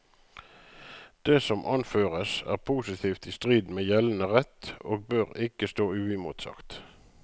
Det som anføres, er positivt i strid med gjeldende rett og bør ikke stå uimotsagt.